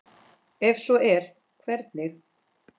Ef svo er, hvernig?